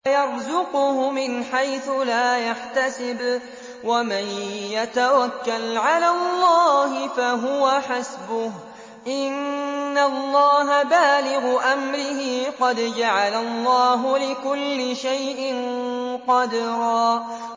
وَيَرْزُقْهُ مِنْ حَيْثُ لَا يَحْتَسِبُ ۚ وَمَن يَتَوَكَّلْ عَلَى اللَّهِ فَهُوَ حَسْبُهُ ۚ إِنَّ اللَّهَ بَالِغُ أَمْرِهِ ۚ قَدْ جَعَلَ اللَّهُ لِكُلِّ شَيْءٍ قَدْرًا